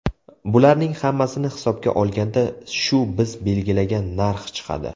Bularning hammasini hisobga olganda shu biz belgilagan narx chiqadi.